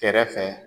Kɛrɛfɛ